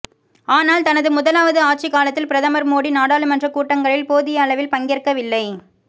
ஆனால் தனது முதலாவது ஆட்சிக் காலத்தில் பிரதமா் மோடி நாடாளுமன்றக் கூட்டங்களில் போதிய அளவில் பங்கேற்கவில்லை